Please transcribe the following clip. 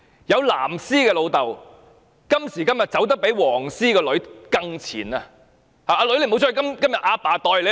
有"藍絲"的父親今時今日走得比"黃絲"的女兒更前，叫女兒不要出去，由爸爸代她出去。